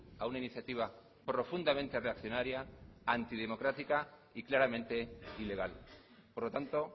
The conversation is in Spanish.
a una iniciativa profundamente reaccionaría antidemocrática y claramente ilegal por lo tanto